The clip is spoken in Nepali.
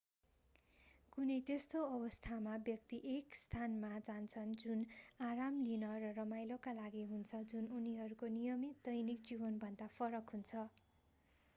कुनै त्यस्तो अवस्थामा व्यक्ति एक स्थानमा जान्छन् जुन आराम लिन र रमाइलोका लागि हुन्छ जुन उनीहरूको नियमित दैनिक जीवनभन्दा भन्दा फरक हुन्छ